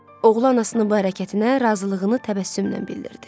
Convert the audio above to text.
Oğlu anasının bu hərəkətinə razılığını təbəssümlə bildirdi.